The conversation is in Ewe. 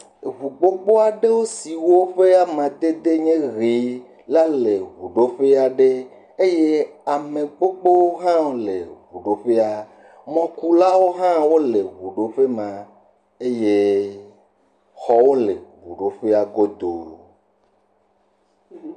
Eŋu gbogbo siwo ƒe amadede nye ʋee la le ŋuɖoƒe aɖe. Eye ame gbogbo hãwo le ŋuɖoƒea. Mɔkulawo hã wole ŋuɖoƒe ma. Eye xɔwo le ŋuɖoƒea godoo.